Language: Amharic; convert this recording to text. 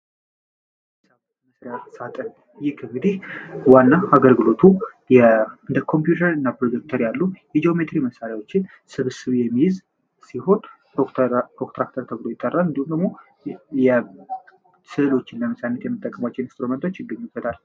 ዋና አገልግሎቱ እንደ ኮምፒውተር እና ፕሮጀክተር ያሉ ስብስብ የሚይዝ ይጠራል እንዲሁም ደግሞ ስእሎችና ጽሁፎችን ለመሳል የሚጠቀሙበትን አጠቃሎ በመያዝ ይገኝበታል።